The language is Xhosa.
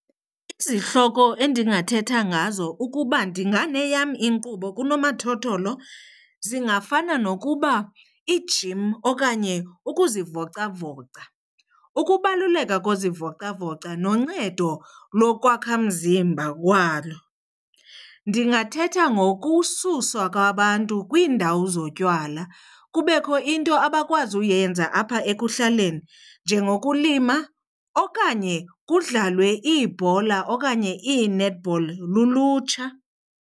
Izihloko endingathetha ngazo ukuba ndinganeyam inkqubo kunomathotholo zingafana nokuba ijim okanye ukuzivocavoca, ukubaluleka kozivocavoca noncedo lokwakhamzimba walo. Ndingathetha ngokususwa kwabantu kwiindawo zotywala kubekho into abakwazi uyenza apha ekuhlaleni, njengokulima okanye kudlalwe iibhola okanye ii-netball lulutsha.